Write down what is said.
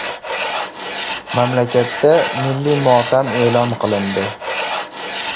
Mamlakatda milliy motam e’lon qilindi.